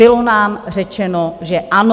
Bylo nám řečeno, že ano.